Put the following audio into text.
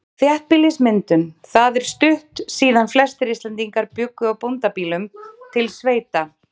Þéttbýlismyndun Það er stutt síðan flestir Íslendingar bjuggu á bóndabýlum, til sveita.